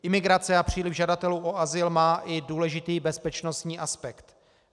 Imigrace a příliv žadatelů o azyl má i důležitý bezpečnostní aspekt.